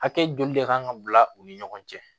Hakɛ joli de kan ka bila u ni ɲɔgɔn cɛ